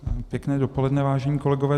Pěkné dopoledne, vážení kolegové.